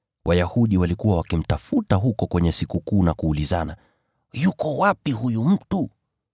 Wayahudi walikuwa wakimtafuta huko kwenye Sikukuu na kuulizana, “Yuko wapi huyu mtu?”